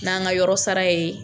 N'an ka yɔrɔ sara ye.